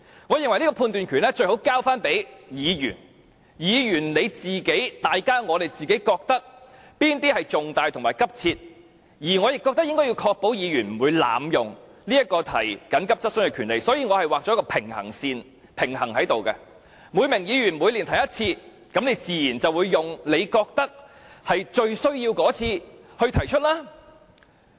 我認為這個判斷權最好交給議員，由議員自行決定哪些質詢屬於與公眾有重大關係及性質急切，而我亦覺得應該要確保議員不會濫用提出急切質詢的權利，故此我劃設一條平衡線，每名議員每年只可提出一次，議員自然會用他認為最有需要的一次來提出。